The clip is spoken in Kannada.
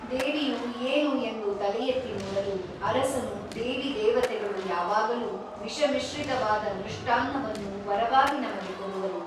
ದೇವಿಯು ಏನು ಎಂದು ತಲೆಯೆತ್ತಿ ನೋಡಲು ಅರಸನು ದೇವಿ ದೇವತೆಗಳು ಯಾವಾಗಲೂ ವಿಷಮಿಶ್ರಿತವಾದ ಮೃಷ್ಟಾನ್ನವನ್ನು ವರವಾಗಿ ನಮಗೆ ಕೊಡುವರು.